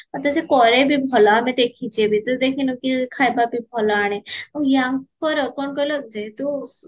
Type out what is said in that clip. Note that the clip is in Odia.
ଆଉ ତ ସେ କରେ ବି ଭଲ ଆମେ ଦେଖିଚୁବି ତୁ ଦେଖିନୁ କି ଖାଇବାବି ଭଲ ଆଣେ ଆଉ ୟାଙ୍କର କଣ କହିଲା ଯେର୍ହେତୁ